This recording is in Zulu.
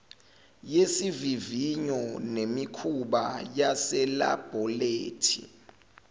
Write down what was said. yesivivinyo nemikhuba yaselabholethi